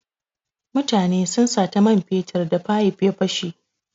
Mutane sun sata man fetur da fayif ta fashe.